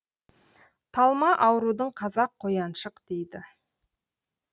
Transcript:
талма аурудың қазақ қояншық дейді